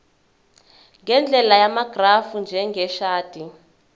ngendlela yamagrafu njengeshadi